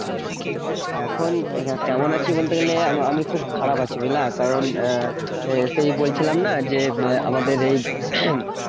এখন কেমন আছি বলতে গেলে, আমি আমি খুব খারাপ আছি বুঝলা? কারণ আহ সেই বলছিলাম না? যে, আমাদের এই